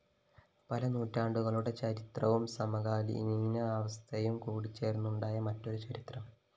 പല നൂറ്റാണ്ടുകളുടെ ചരിത്രവും സമകാലീനാവസ്ഥയും കൂടിച്ചേര്‍ന്നുണ്ടായ മറ്റൊരു ചരിത്രം